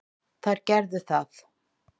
Þær gerðu það.